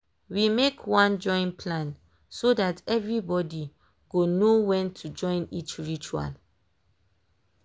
we make one join plan so that every body go know when to join each ritual.